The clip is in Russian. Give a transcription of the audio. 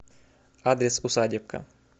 адрес усадебка